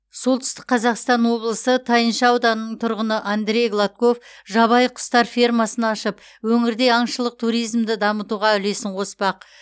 солтүстік қазақстан облысы тайынша ауданының тұрғыны андрей гладков жабайы құстар фермасын ашып өңірде аңшылық туризмді дамытуға үлесін қоспақ